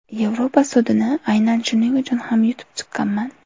Yevropa sudini aynan shuning uchun ham yutib chiqqanman.